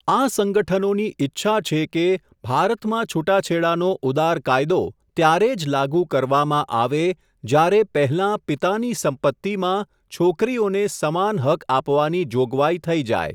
આ સંગઠનોની ઈચ્છા છે કે, ભારતમાં છુટાછેડાનો ઉદાર કાયદો, ત્યારે જ લાગુ કરવામાં આવે, જ્યારે પહેલાં પિતાની સંપત્તિમાં, છોકરીઓને સમાન હક આપવાની જોગવાઈ થઈ જાય.